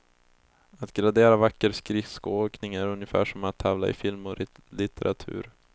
Att gradera vacker skridskoåkning är ungefär som att tävla i film och litteratur.